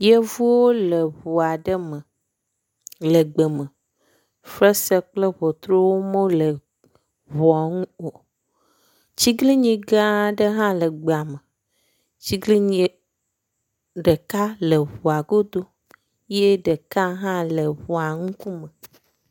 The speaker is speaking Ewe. Yevuwo le ʋuaɖe me le gbe me, fesre kple ʋɔtruwo mole ʋua ŋu o, tsiglinyi gãa ɖe hã le gbea me, tsiglinyi ɖeka le ʋua godo yɛ ɖeka hã le ʋua ŋukume